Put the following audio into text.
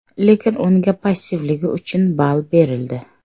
Lekin unga passivligi uchun ball berildi.